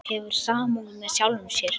Hefur samúð með sjálfum sér.